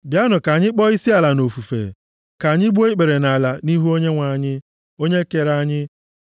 Bịanụ ka anyị kpọọ isiala nʼofufe, ka anyị gbuo ikpere nʼala nʼihu Onyenwe anyị, onye kere anyị;